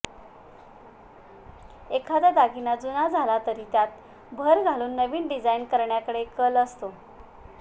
एखादा दागिना जुना झाला तरी त्यात भर घालून नवीन डिझाईन करण्याकडे कल असतो